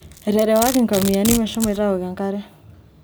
eterewaki nkomiani meshomoito awok enkare